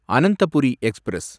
Ananthapuri express